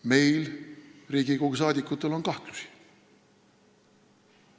Meil, Riigikogu liikmetel on kahtlusi.